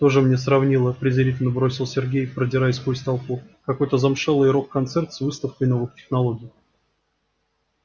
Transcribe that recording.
тоже мне сравнила презрительно бросил сергей продираясь сквозь толпу какой-то замшелый рок-концерт с выставкой новых технологий